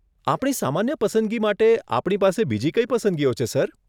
આપણી સામાન્ય પસંદગી માટે આપણી પાસે બીજી કઈ પસંદગીઓ છે સર?